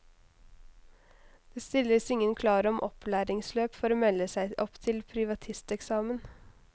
Det stilles ingen krav om opplæringsløp for å melde seg opp til privatisteksamen.